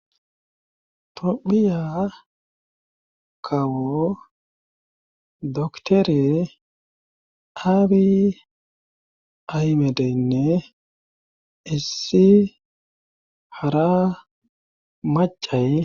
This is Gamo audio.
Xophiya kawo doktere aabi aymedeynne issi hara macay